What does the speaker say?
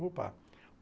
Opa.